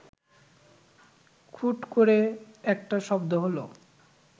খুট করে একটা শব্দ হল